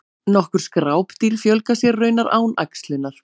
nokkur skrápdýr fjölga sér raunar án æxlunar